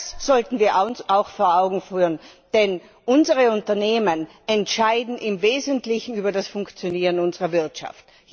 Das sollten wir uns auch vor Augen führen, denn unsere Unternehmen entscheiden im Wesentlichen über das Funktionieren unserer Wirtschaft.